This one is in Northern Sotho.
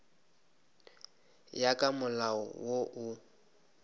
ya ka molao wo o